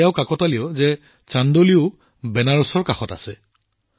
এতিয়া এইটোও কাকতালীয় যে চান্দৌলিও বেনাৰসৰ কাষত আছে